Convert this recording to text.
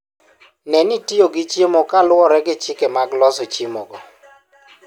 Ne ni itiyo gi chiemogo kaluwore gi chike mag loso chiemogo.